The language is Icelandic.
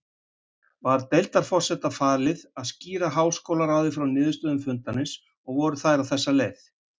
Var deildarforseta falið að skýra háskólaráði frá niðurstöðum fundarins, og voru þær á þessa leið